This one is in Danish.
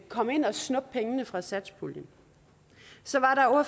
komme ind og snuppe pengene fra satspuljen så